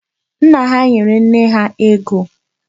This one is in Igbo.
Nna ha nyere nne ha ego.